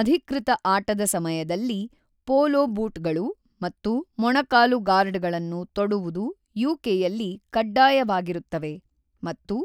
ಅಧಿಕೃತ ಆಟದ ಸಮಯದಲ್ಲಿ ಪೋಲೊ ಬೂಟ್‌ಗಳು ಮತ್ತು ಮೊಣಕಾಲು ಗಾರ್ಡ್‌ಗಳನ್ನು ತೊಡುವುದು ಯುಕೆಯಲ್ಲಿ ಕಡ್ಡಾಯವಾಗಿರುತ್ತವೆ ಮತ್ತು